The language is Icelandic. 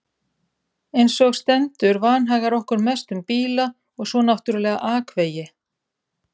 Einsog stendur vanhagar okkur mest um bíla og svo náttúrlega akvegi.